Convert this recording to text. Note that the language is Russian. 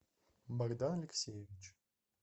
богдан алексеевич